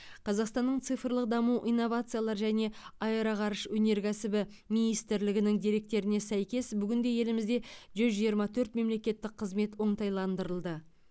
қазақстанның цифрлық даму инновациялар және аэроғарыш өнеркәсібі министрлігінің деректеріне сәйкес бүгінде елімізде жүз жиырма төрт мемлекеттік қызмет оңтайландырылды